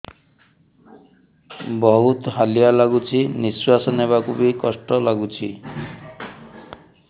ବହୁତ୍ ହାଲିଆ ଲାଗୁଚି ନିଃଶ୍ବାସ ନେବାକୁ ଵି କଷ୍ଟ ଲାଗୁଚି